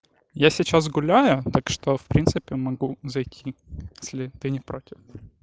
я сейчас гуляю так что в принципе могу зайти если ты не против